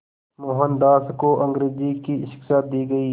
मोहनदास को अंग्रेज़ी की शिक्षा दी गई